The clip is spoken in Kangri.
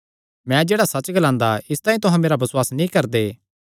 मैं जेह्ड़ा सच्च ग्लांदा इसतांई तुहां मेरा बसुआस नीं करदे